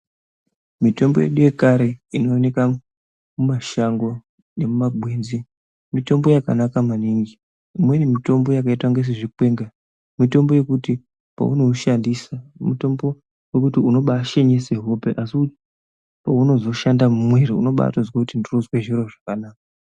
Mitombo yedu yekare inooneka mumashango nemumagwenzi mitombo yakanaka maningi. Imweni mitombo yakaita kunge sezvikwenga mitombo yekuti peunoushandisa mitombo wekuti unobashinyise hope asi peunozoshanda mumwiri unobatozwe kuti ndiri kuzwe zviro zvakanaka.